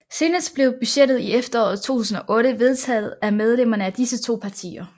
Senest blev budgettet i efteråret 2008 vedtaget af medlemmerne af disse to partier